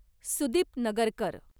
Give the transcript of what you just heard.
Sudeep Nagarkar